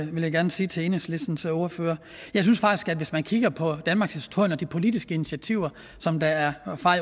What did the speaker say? vil jeg gerne sige til enhedslistens ordfører jeg synes faktisk at hvis man kigger på danmarkshistorien og de politiske initiativer som er